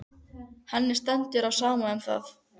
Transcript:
Henni stendur á sama um það.